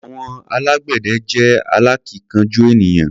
Àwọn alágbẹ̀dẹ jẹ́ alákíkanjú ènìyàn.